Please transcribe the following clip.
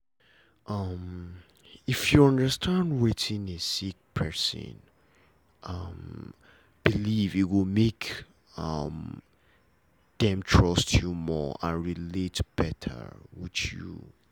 um if you understand wetin a sick person um believe e go make um them trust you more and relate better with you